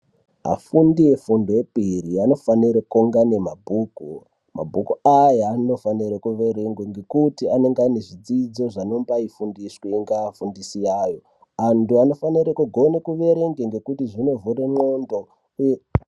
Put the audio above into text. Afundisi ngepiri anofanira kunge ane mabhuku. Mabhuku Aya anofanira kuverengwa ngekuti anenge ane zvidzidzo zvinombai fundiswe ngaafundisi ayo. Andu anifanirwa kugona kuverenga ngekuti zvino vhura mwendo uye ......